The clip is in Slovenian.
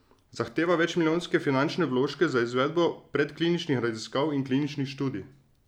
Zahteva večmilijonske finančne vložke za izvedbo predkliničnih raziskav in kliničnih študij.